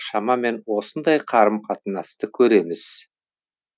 шамамен осындай қарым қатынасты көреміз